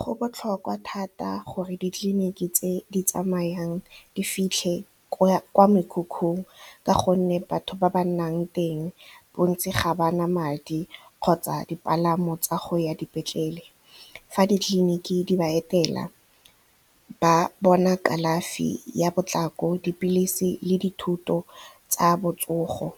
Go botlhokwa thata gore ditleliniki tse di tsamayang di fitlhe kwa mekhukhung ka gonne batho ba ba nnang teng bontsi ga bana madi kgotsa dipalamo tsa go ya dipetlele fa ditleliniki di ba etela ba bona kalafi ya potlako, dipilisi le dithuto tsa botsogo.